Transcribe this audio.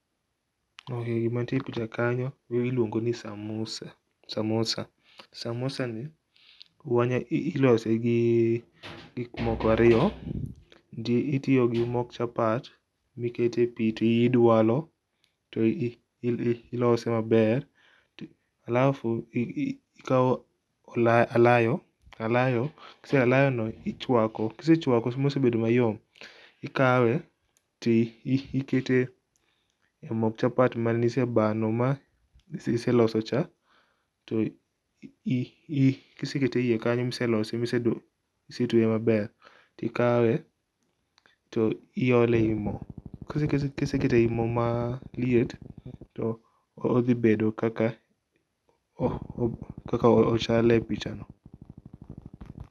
Gima nitie picha kanyo iluongo ni samosa, samosa ni ilose gi gik moko ariyo. Itiyo gi mok chapat mikete pii tidwalo to iloso maber alafu ikaw olayo, alayo, alayo no ichwako kisechwako mosebedo mayom, ikawe tikete e mok chapat mane isebano ma iseloso cha to kisekete iye kanyo miselose misetwe maber tikawe tiole ei moo. Kisekete ei moo maliet, to odhi bedo kaka ochal e pichano